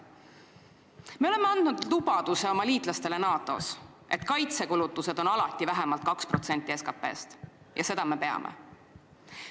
Me oleme andnud lubaduse oma liitlastele NATO-s, et kaitsekulutused on alati vähemalt 2% SKP-st, ja seda me peame.